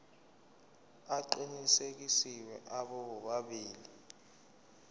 aqinisekisiwe abo bobabili